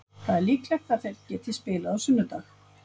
Það er líklegt að þeir geti spilað á sunnudag.